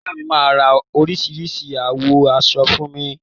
Ìyá mi máa ra oríṣìíríṣìí àwọ̀ aṣọ fún mi.